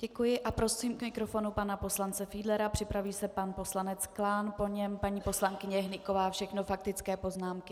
Děkuji a prosím k mikrofonu pana poslance Fiedlera, připraví se pan poslanec Klán, po něm paní poslankyně Hnyková - všechno faktické poznámky.